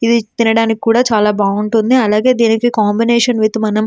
ఇది తినడానికి కూడా చాలా బాగుంటుంది అలాగే దీని కాంబినేషన్తో విత్ మనం --